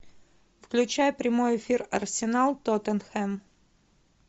включай прямой эфир арсенал тоттенхэм